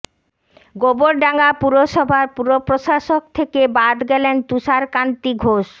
গোবরডাঙ্গা পুরসভার পুরপ্রশাসক থেকে বাদ গেলেন তুষার কান্তি ঘোষ